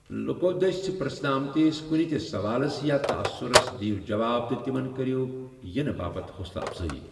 لُكو دٔسۍ پر٘ژھنہٕ آمتِس كُنہِ تہِ سوالس یا تعاثرس دِیو جواب تہٕ تمن كرِیو یِنہٕ باپت حوصلہٕ افضٲیی۔